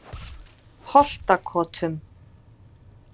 Holtakotum